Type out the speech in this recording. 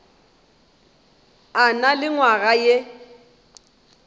a na le nywaga ye